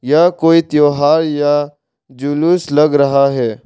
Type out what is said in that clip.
यह कोई त्यौहार या जुलूस लग रहा है।